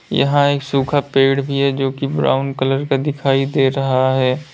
यहां एक सूखा पेड़ भी है जोकि ब्राउन कलर का दिखाई दे रहा है।